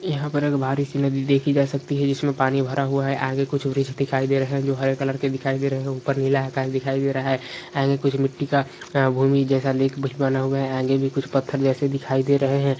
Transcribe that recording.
यहाँ पर एक भारी सी नदी देखी जा सकती है जिसमें पानी भरा हुआ है आगे कुछ दिखाई दे रहे है जो हरे कलर के दिखाई दे रहे है ऊपर नीला आकाश दिखाई दे रहा है आगे कुछ मिट्टी का भूमि जैसा लिखवाना हुआ है आगे भी कुछ पत्थर जैसे दिखाई दे रहे है।